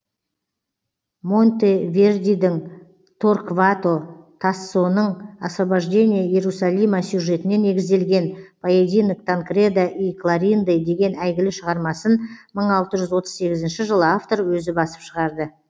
монтевердидің торквато тассоның освобождение иерусалима сюжетіне негізделген поединок танкреда и клоринды деген әйгілі шығармасын мың алты жүз отыз сегізінші жылы автор өзі басып шығарды